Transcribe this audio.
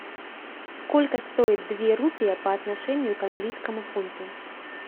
сколько стоит две рупии по отношению к английскому фунту